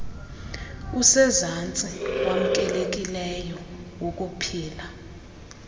usezantsi wamkelekileyo wokuphila